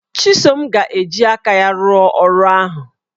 Chisom ga-eji aka ya rụọ ọrụ ahụ